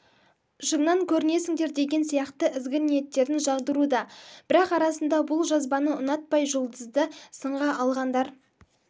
шыңнан көрінесіңдер деген сияқты ізгі ниеттерін жаудыруда бірақ арасында бұл жазбаны ұнатпай жұлдызды сынға алғандар